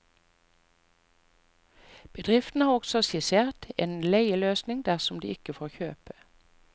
Bedriften har også skissert en leieløsning dersom de ikke får kjøpe.